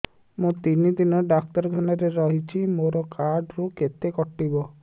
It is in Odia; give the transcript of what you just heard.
ମୁଁ ତିନି ଦିନ ଡାକ୍ତର ଖାନାରେ ରହିଛି ମୋର କାର୍ଡ ରୁ କେତେ କଟିବ